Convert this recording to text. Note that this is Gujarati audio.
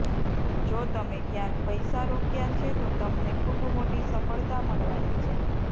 જો તમે ક્યાક પૈસા રોક્યા છે તો તમને ખૂબ મોટી સફળતા મળવાની છે